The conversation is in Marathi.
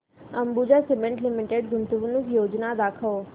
अंबुजा सीमेंट लिमिटेड गुंतवणूक योजना दाखव